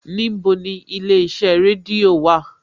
Níbo ni ilé iṣẹ́ rédíò wà?